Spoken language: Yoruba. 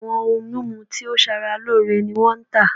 Awọn oun mimu to sara loore ni wọn n ta